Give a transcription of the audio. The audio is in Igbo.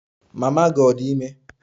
Mama gị ọ̀ dị ime?